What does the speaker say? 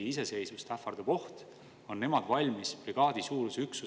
Infoks veel, et bensiini aktsiisimäär kui selline on olnud muutumatu alates 2018. aastast.